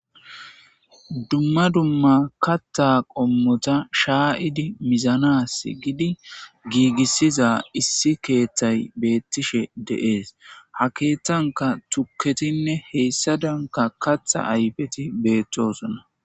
Dumma dumma kata qommota shayidi mizanas gidi gigisiza issi kethay betishe de'es ha kethaka tuketinne hesadanka katha ayfeti betosona